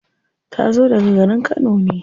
Ta zo daga garin kano ne.